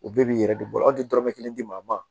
O bɛɛ b'i yɛrɛ de bolo hali tɛ dɔrɔmɛ kelen di a ma